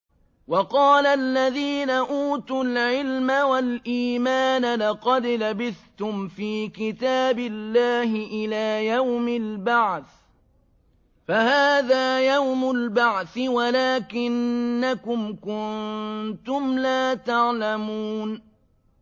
وَقَالَ الَّذِينَ أُوتُوا الْعِلْمَ وَالْإِيمَانَ لَقَدْ لَبِثْتُمْ فِي كِتَابِ اللَّهِ إِلَىٰ يَوْمِ الْبَعْثِ ۖ فَهَٰذَا يَوْمُ الْبَعْثِ وَلَٰكِنَّكُمْ كُنتُمْ لَا تَعْلَمُونَ